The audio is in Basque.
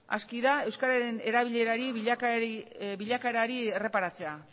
aski da euskararen erabileraren bilakaerari erreparatzea